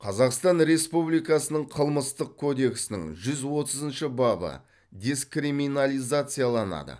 қазақстан республикасының қылмыстық кодексінің жүз отызыншы бабы декриминализацияланады